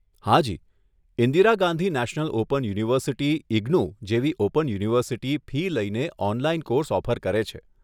હાજી, Indira Gandhi national open university IGNOU જેવી open university fee લઈને ઓનલાઈન કોર્સ ઓફર કરે છે.